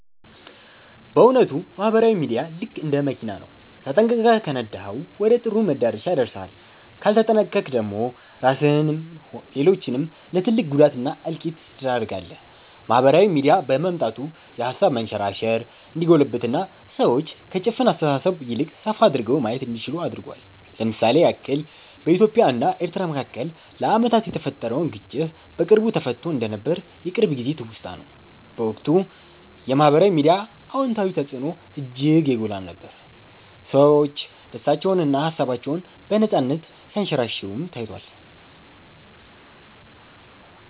በ እዉነቱ ማህበራዊ ሚዲያ ልክ እንደ መኪና ነው፤ ተጠንቅቀህ ከነዳኀው ወደ ጥሩ መዳረሻ ያደርስሃል ካልተጠነቅቀክ ደግሞ ራስህንም ሌሎችንም ለ ትልቅ ጉዳት እና እልቂት ትዳርጋለህ። ማህበራዊ ሚዲያ በመምጣቱ የሃሳብ መንሸራሸር እንዲጎለብትና ሰዎች ከ ጭፍን አስተሳሰብ ይልቅ ሰፋ አድርገው ማየት እንዲችሉ አድርጓል። ለ ምሳሌ ያክል በኢትዮጵያ እና ኤርትራ መካከል ለአመታት የተፈጠረውን ግጭት በቅርቡ ተፈትቶ እንደነበር የቅርብ ጊዜ ትውስታ ነው። በወቅቱ የ ማህበራዊ ሚዲያ አወንታዊ ተፅዕኖ እጅግ የጎላ ነበር፤ ሰዎች ደስታቸውንና ሃሳባቸውን በነፃነት ሲያንሸራሽሩም ታይቷል።